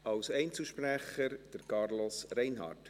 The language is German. Als Einzelsprecher, Carlos Reinhard.